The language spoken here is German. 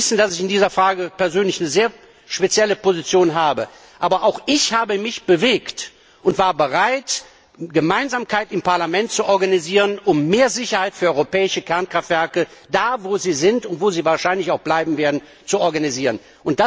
Sie wissen, dass ich in dieser Frage persönlich eine sehr spezielle Position vertrete, aber auch ich habe mich bewegt und war bereit, Gemeinsamkeit im Parlament zu erreichen, um mehr Sicherheit für europäische Kernkraftwerke, da wo sind und wo sie wahrscheinlich auch bleiben werden, zu erreichen.